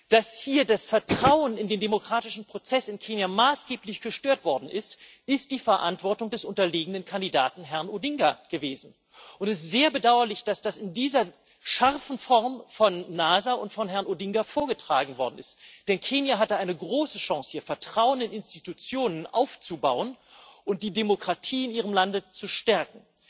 Dass hier das Vertrauen in den demokratischen Prozess in Kenia maßgeblich gestört worden ist, ist die Verantwortung des unterlegenen Kandidaten Herrn Odinga gewesen, und es ist sehr bedauerlich, dass das in dieser scharfen Form von NASA und von Herrn Odinga vorgetragen worden ist, denn Kenia hatte eine große Chance, hier Vertrauen in Institutionen aufzubauen und die Demokratie im eigenen Lande zu stärken.